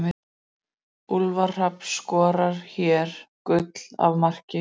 Úlfar Hrafn skorar hér gull af marki.